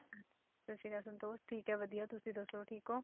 ਸਤਿ ਸ੍ਰੀ ਅਕਾਲ ਸੰਤੋਸ਼ ਠੀਕ ਹੈ ਵਧੀਆ ਤੁਸੀਂ ਦੱਸੋ ਠੀਕ ਹੋ?